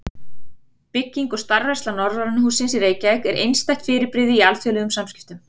Bygging og starfræksla Norræna hússins í Reykjavík var einstætt fyrirbrigði í alþjóðlegum samskiptum.